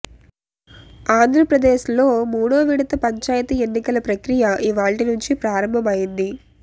ఆంధ్రప్రదేశ్లో మూడో విడత పంచాయతీ ఎన్నికల ప్రక్రియ ఇవాళ్టి నుంచి ప్రారంభమైంది